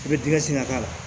I bɛ tigɛsin ka k'a la